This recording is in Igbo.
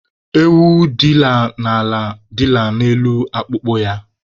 Ewu dila n'ala, dila n'elu akpụkpọ ya